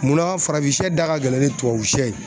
Munna farafin sɛ da ka gɛlɛn ni tubabu sɛ ye